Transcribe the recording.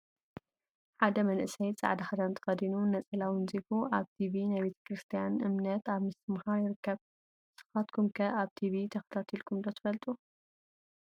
ሓደ መንእሰይ ፃዕዳ ክዳን ተከዲኑ ነፀላ አወንዚፉ ኣብ ቲቪ ናይ ቤተ ክርስትያ እምነት ኣብ ምስትምሃር ይርከብ ።ንስካትኩም ከ ኣብ ቲቪ ተከታቲልኩም ዶ ትፈልጡ ።